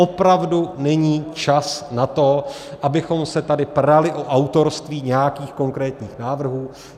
Opravdu není čas na to, abychom se tady prali o autorství nějakých konkrétních návrhů.